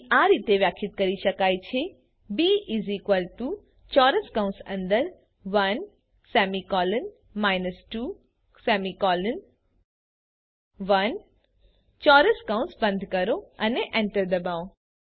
બી આ રીતે વ્યાખ્યાયિત કરી શકાય છે બી 1 21 ચોરસ કૌસ બંધ કરો અને એન્ટર ડબાઓ